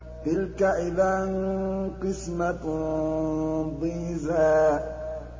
تِلْكَ إِذًا قِسْمَةٌ ضِيزَىٰ